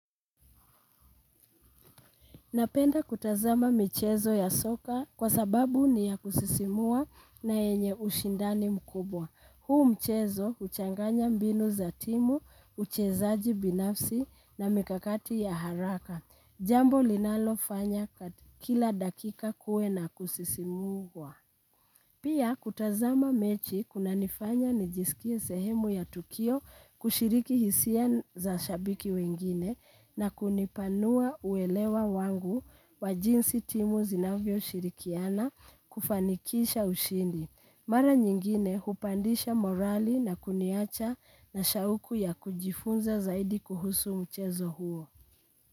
Napenda kutazama michezo ya soka kwa sababu ni ya kusisimua na yenye ushindani mkubwa. Huu mchezo huchanganya mbinu za timu, uchezaji binafsi na mikakati ya haraka. Jambo linalofanya kila dakika kuwe na kusisimka. Pia kutazama mechi kuna nifanya nijisikie sehemu ya tukio kushiriki hisia za shabiki wengine na kunipanua uelewa wangu wa jinsi timu zinavyoshirikiana kufanikisha ushindi. Mara nyingine hupandisha morali na kuniacha na shauku ya kujifunza zaidi kuhusu mchezo huo.